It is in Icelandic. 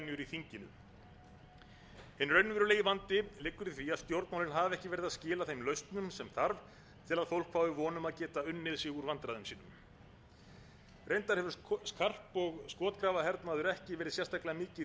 þinginu hinn raunverulegi vandi liggur í því að stjórnmálin hafa ekki verið að skila þeim lausnum sem þarf til að fólk fái von um að geta unnið sig úr vandræðum sínum reyndar hefur karp og skotgrafahernaður ekki verið sérstaklega mikill í þinginu að